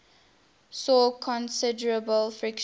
saw considerable friction